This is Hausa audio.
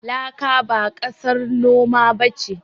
Laka ba ƙasar noma ba ce.